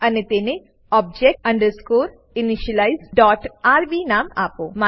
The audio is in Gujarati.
અને તેને object underscore initialize dot RB નામ આપો